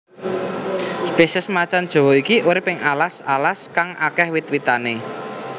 Spesies macan jawa iki urip ing alas alas kang akéh wit witane